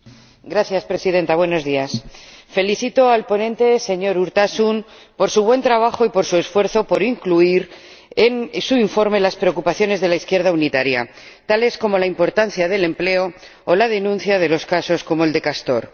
Señora Presidenta, felicito al ponente, el señor Urtasun, por su buen trabajo y por su esfuerzo por incluir en su informe las preocupaciones de la izquierda unitaria, tales como la importancia del empleo o la denuncia de los casos como el de Castor.